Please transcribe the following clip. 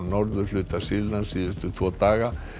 í norðurhluta Sýrlands síðustu tvo daga